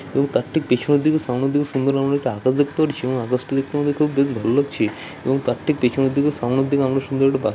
এবং তার ঠিক পিছনের দিকে সামনের দিকে সুন্দর আমরা একটা আকাশ দেখতে পাচ্ছি এবং আকাশটা দেখতে আমাদের খুব বেশ ভালো লাগছে |এবং তার ঠিক পেছনের দিকে সামনের দিকে আমরা সুন্দর একটা বাগ-- |